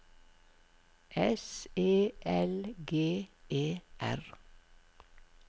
S E L G E R